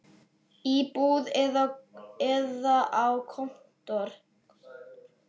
Í búð eða á kontór.